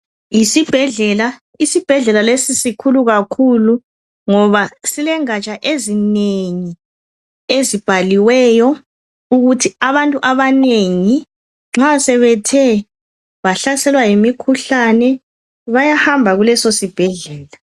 Yisibhedlela. Isibhedlela lesi sikhulu kakhulu ngoba silengatsha ezinengi ezibhaliweyo, ukuthi abantu abanengi sebethe bahlaselwa yimikhuhlane, bayahamba kuleso sibhedlela.